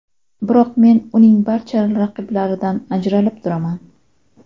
Biroq men uning barcha raqiblaridan ajralib turaman.